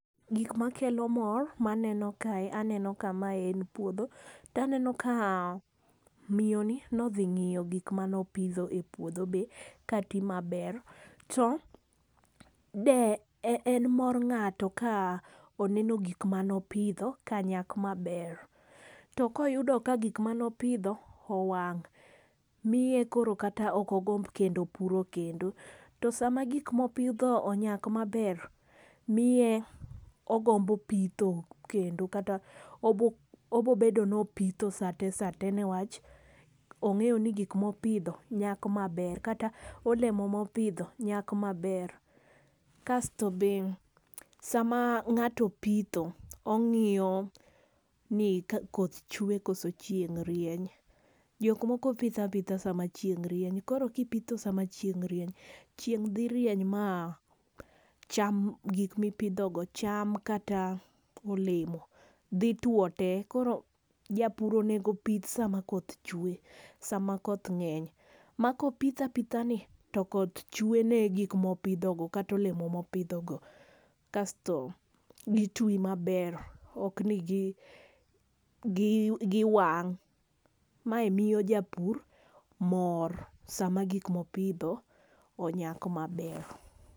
Gik makelo mor maneno kae aneno ka mae en puodho. To aneno ka miyo ni nodhi ng'iyo gik manopidho e puodho be kati maber. To de en mor ng'ato ka oneno gik manopidho ka nyak maber. Tokoyudo ka gik manopidho owang' miye koro kata ok ogomb kendo puro kendo. To sama gik mopidho onyak maber miye ogombo pitho kendo kata obobedo ni opitho sate sate newach ong'eyo ni gik mopidho nyak maber. Kata olemo mopidho nyak maber. Kasto be sama ng'ato opitho ong'iyo ni koth chwe koso chieng' rieny. Jok moko pitho apitha sama chieng' rieny. Koro kipitho sama chieng' rieny chieng' dhi rieny ma cham gik mipidho go cham kata olemo dhi tuo te. Koro japur onego pith sama koth chwe sama koth ng'eny. Makopitho apitha ni to koth chwe ne gik mopodho go kata olemo mopidho go. Kasto gitwi maber ok ni gi wang'. Mae miyo japur mor sama gik mopidho onyak maber.